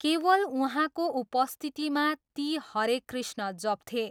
केवल उहाँको उपस्थितिमा ती हरे कृष्ण जप्थे।